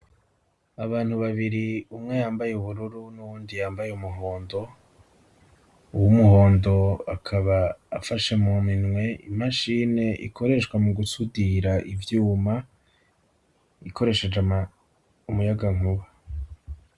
Abantu babiri umwe yambaye ubururu n'uwundi yambaye umuhondo, uwu muhondo akaba afashe mu minwe imashine ikoreshwa mu gusudira ivyuma ikoresheje umuyagankuba.